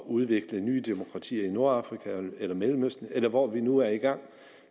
udvikle nye demokratier i nordafrika eller mellemøsten eller hvor vi nu er i gang